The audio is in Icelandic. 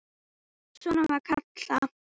Svona var Kalla.